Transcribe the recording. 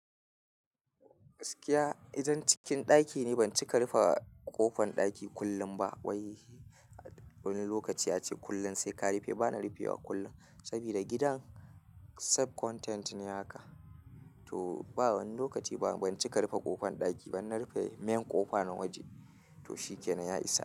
Gaskiya idan cikin daki ne ban cika rufe kofan daki kullum ba, waii wani lokaci a ce kullum sai ka rufe bana rufewa kullum saboda gidan sub content ne haka to ba wani lokaci ba ban cika rufe ƙofan ɗaki ba in na rufe main ƙofa na waje to shi ke nan, ya isa.